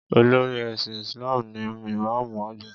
Olórí ẹ̀sìn Isalm ni Ìmáàmù àgbà.